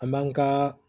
An b'an ka